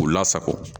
K'u lasago